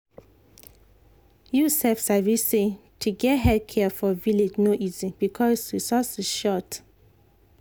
you sef sabi say to get health care for village no easy because resources short.